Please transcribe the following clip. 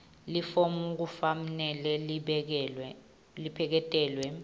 lelifomu kufanele lipheleketelwe